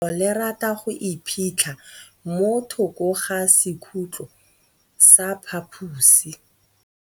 Legôtlô le rata go iphitlha mo thokô ga sekhutlo sa phaposi.